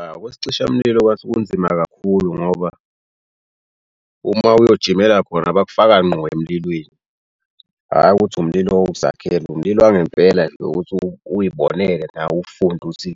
Awu okwesicishamlilo kwathi kunzima kakhulu ngoba uma uyojimela khona bakufaka ngqo emlilweni hhayi ukuthi umlilo wokuzakhela umlilo wangempela nje yokuthi uy'bonele nawe ufunde ukuthi